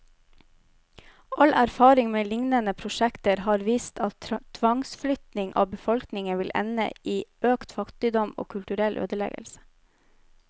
All erfaring med lignende prosjekter har vist at tvangsflytting av befolkningen vil ende i økt fattigdom, og kulturell ødeleggelse.